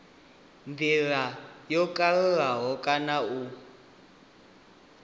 ndila yo kalulaho kana u